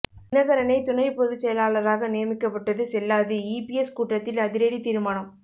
தினகரனை துணை பொதுச்செயலாளராக நியமிக்கப்பட்டது செல்லாது ஈபிஎஸ் கூட்டத்தில் அதிரடி தீர்மானம்